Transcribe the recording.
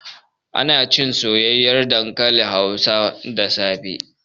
Munacin soyayyen dankalin hausa da safe